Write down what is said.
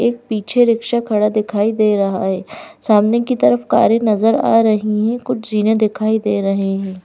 एक पीछे रिक्शा खड़ा दिखाई दे रहा हैं सामने की तरफ कारें नजर आ रही है कुछ जीने दिखाई दे रहे है।